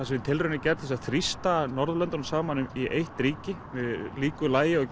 tilraunir til að þrýsta Norðurlöndunum saman í eitt ríki með líku lagi og